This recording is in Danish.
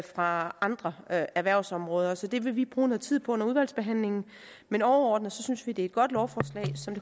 fra andre erhvervsområder så det vil vi bruge noget tid på under udvalgsbehandlingen men overordnet synes vi det er et godt lovforslag som